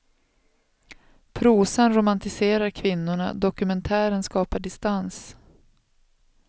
Prosan romantiserar kvinnorna, dokumentären skapar distans.